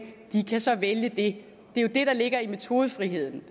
kan så vælge det det er jo det der ligger i metodefriheden